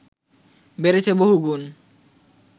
বেড়েছে বহুগুণ